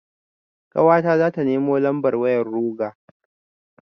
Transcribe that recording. Ƙawata zata nemo lambar wayar ruger.